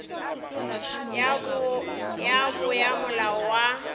ya bo ya molao wa